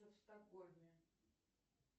в стокгольме